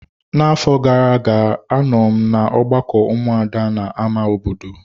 Na afọ gara-aga anọ m na ọgbakọ ụmụada na ámá obodo.